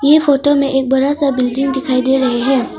ये फोटो में एक बड़ा सा बिल्डिंग दिखाई दे रहे हैं।